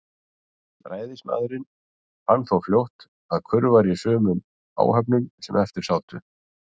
Ræðismaðurinn fann þó fljótt, að kurr var í sumum áhöfnunum, sem eftir sátu.